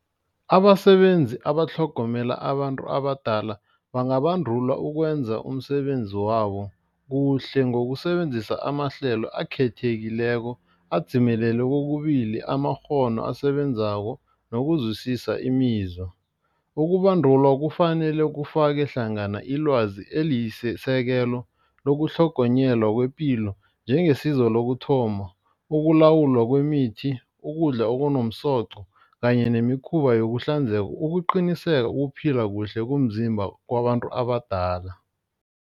Abasebenzi abatlhogomela abantu abadala bangabandulwa ukwenza umsebenzi wabo kuhle ngokusebenzisa amahlelo akhethekileko adzimelele kokubili amakghono asebenzako nokuzwisisa imizwa. Ukubandulwa kufanele kufake hlangana ilwazi eliyisisekelo lokutlhogonyelwa kwepilo njengesiza lokuthoma. Ukulawulwa kwemithi, ukudla okunomsoqo kanye nemikhuba yokuhlanzeka. Ukuqiniseka ukuphila kuhle komzimba kwabantu abadala.